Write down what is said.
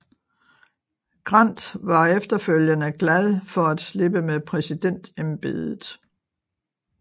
Grant var efterfølgende glad for at slippe med præsidentembedet